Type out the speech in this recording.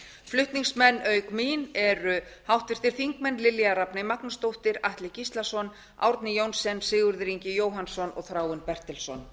flutningsmenn auk mín eru háttvirtir þingmenn lilja rafney magnúsdóttir atli gíslason árni johnsen sigurður ingi jóhannsson og þráinn bertelsson